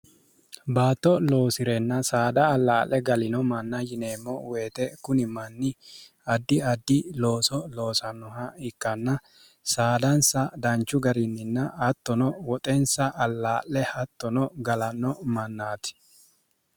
baatto loosi'renna saada allaa'le galino manna yineemmo woyite kuni manni addi addi looso loosannoha ikkanna saadansa danchu gariinninna hattono woxensa allaa'le hattono galanno mannaati